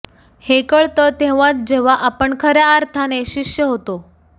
हे कळतं तेव्हाच जेव्हा आपण खऱ्या अर्थाने शिष्य होतो